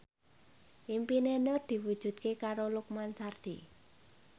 impine Nur diwujudke karo Lukman Sardi